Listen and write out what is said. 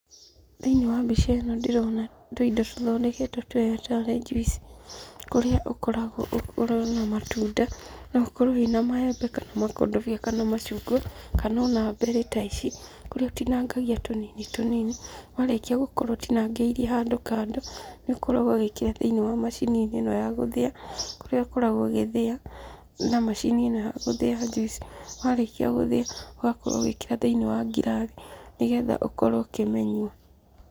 Thĩinĩ wa mbica ĩno ndĩrona tũindo tũthondeketwo twega tarĩ juice kũrĩa ũkoragwo ũkorwo na matunda, noũkorwo wĩna maembe kana makorobia kana macungwa, kana ona berry ta ici, kũrĩa ũtinangagia tũnini tũnini, warĩkia gũkorwo ũtinangĩirie handũ kando, nĩũkoragwo ũgĩkĩra thĩinĩ wa macini-inĩ ĩno ya gũthĩa, kũrĩa ũkoragwo ũgĩthĩa na macini ĩno ya gũthĩa juice, warĩkia gũthĩa ũgakorwo ũgĩkĩra thĩinĩ wa ngirathi nĩgetha ũkorwo ũkĩmĩnyua.